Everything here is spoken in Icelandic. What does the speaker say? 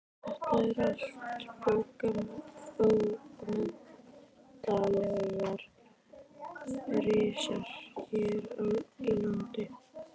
Þetta eru allt bókmenntalegir risar hér í landi.